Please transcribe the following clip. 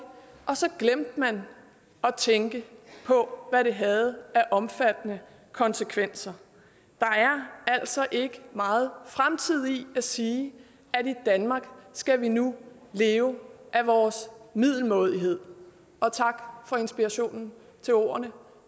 og så glemte man at tænke på hvad det havde af omfattende konsekvenser der er altså ikke meget fremtid i at sige at i danmark skal vi nu leve af vores middelmådighed og tak for inspirationen til ordene